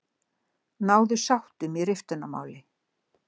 Náðu sáttum í riftunarmáli